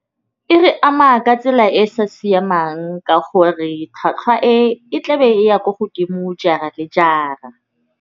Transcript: E re ama ka tsela e sa siamang ka gore tlhwatlhwa e e tlabe e ya ko godimo jara le jara.